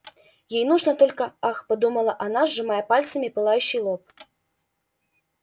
ей нужно только ах подумала она сжимая пальцами пылающий лоб